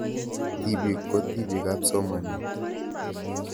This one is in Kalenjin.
Tipik ko tipik ab somanet